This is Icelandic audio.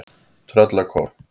Tröllakór